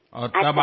ఓహో అలానా